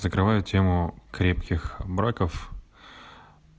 закрываю тему крепких браков